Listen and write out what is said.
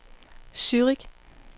Zürich